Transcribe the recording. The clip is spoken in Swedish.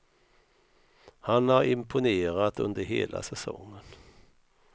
Han har imponerat under hela säsongen.